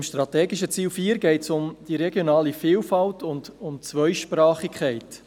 Beim strategischen Ziel 4 geht es um die regionale Vielfalt und um die Zweisprachigkeit.